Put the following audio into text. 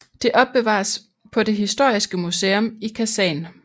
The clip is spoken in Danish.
Det opbevares på det historiske museum i Kasan